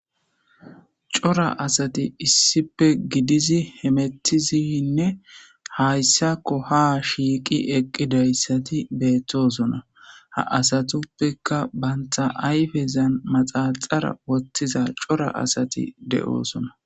Cora asati issipe gidizi hemetizinne hayssakko ha shiiqi eqqidayssati beettosona ha asatuppeka bantha ayfezan maxaxara wottiza cora asati de'oosona.